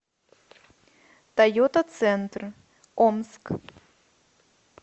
тойота центр омск